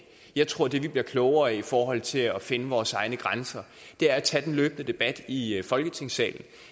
jeg tror at det vi bliver klogere af i forhold til at finde vores egne grænser er at tage den løbende debat i i folketingssalen